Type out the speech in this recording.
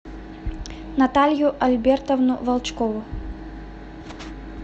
наталью альбертовну волчкову